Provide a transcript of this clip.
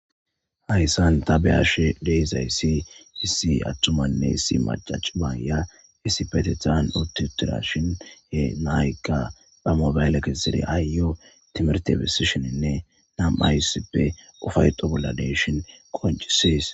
Hayssan ta be'ashe dizayssi issi atumanne issi macca cima aayiya issippetethan utti uttidashin naykka ba moobale kesidi aayeyo timihirte besishininne nam'ay issippe ufayxo bolla dishin qonccisees.